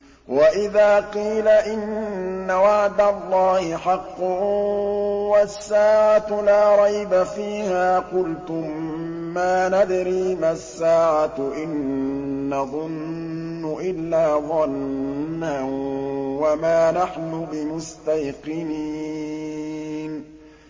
وَإِذَا قِيلَ إِنَّ وَعْدَ اللَّهِ حَقٌّ وَالسَّاعَةُ لَا رَيْبَ فِيهَا قُلْتُم مَّا نَدْرِي مَا السَّاعَةُ إِن نَّظُنُّ إِلَّا ظَنًّا وَمَا نَحْنُ بِمُسْتَيْقِنِينَ